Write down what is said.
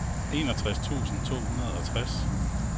enogtres tusind to hundrede og tres